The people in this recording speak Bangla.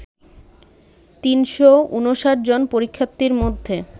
৩৫৯ জন পরীক্ষার্থীর মধ্যে